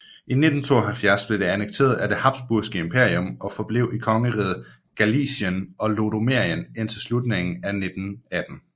I 1772 blev det annekteret af Habsburgske Imperium og forblev i Kongeriget Galicien og Lodomerien indtil slutningen af 1918